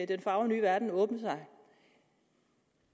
den fagre nye verden åbne sig